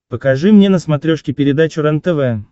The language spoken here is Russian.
покажи мне на смотрешке передачу рентв